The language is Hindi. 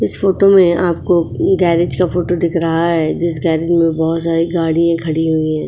इस फोटो में आपको गैरेज का फोटो दिख रहा है। जिस गैरेज में बहुत सारी गाड़ियां खड़ी हुई हैं।